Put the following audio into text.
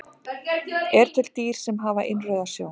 Eru til dýr sem hafa innrauða sjón?